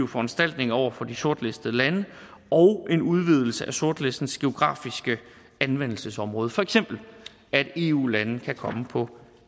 foranstaltninger over for de sortlistede lande og en udvidelse af sortlistens geografiske anvendelsesområde for eksempel at eu lande kan komme på